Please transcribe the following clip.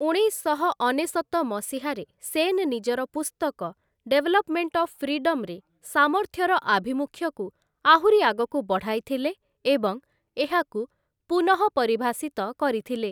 ଉଣେଇଶଶହ ଅନେଶତ ମସିହାରେ, ସେନ ନିଜର ପୁସ୍ତକ 'ଡେଭଲପ୍‌ମେଣ୍ଟ ଅଫ୍ ଫ୍ରିଡମ୍‌'ରେ ସାମର୍ଥ୍ୟର ଆଭିମୁଖ୍ୟକୁ ଆହୁରି ଆଗକୁ ବଢ଼ାଇଥିଲେ ଏବଂ ଏହାକୁ ପୁନଃପରିଭାଷିତ କରିଥିଲେ ।